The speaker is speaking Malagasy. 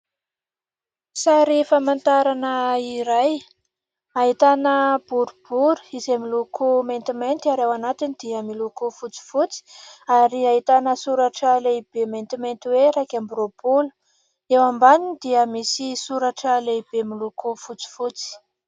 Sary famantarana iray ahitana boribory izay miloko maintimainty ary ao anatiny dia miloko fotsifotsy ary ahitana soratra lehibe maintimainty hoe iraika amby roapolo. Eo ambaniny dia misy soratra lehibe miloako fotsifotsy.